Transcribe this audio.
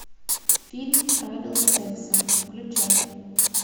фильм правила секса включай